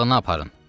Otağına aparın.